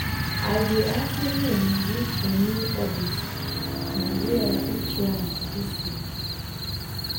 i dey actively um look for new hobbies um wey i fit try um this year.